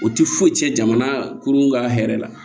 O tɛ foyi tiɲɛ jamana kurun ka hɛrɛ la